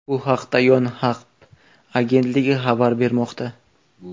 Bu haqda Yonhap agentligi xabar bermoqda.